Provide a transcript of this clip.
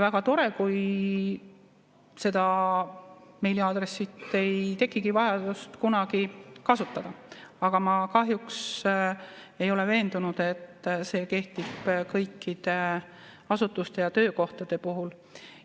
Väga tore, kui ei tekigi vajadust kunagi seda meiliaadressi kasutada, aga ma kahjuks ei ole veendunud, et see kehtib kõikide asutuste ja töökohtade puhul.